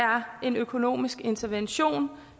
en økonomisk intervention